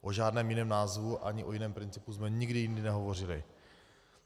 O žádném jiném názvu ani o jiném principu jsme nikdy jindy nehovořili.